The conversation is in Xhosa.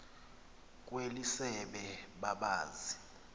kweli sebe babazi